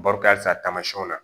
Baro ka ca taamasiyɛnw na